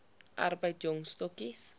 arbeid jong stokkies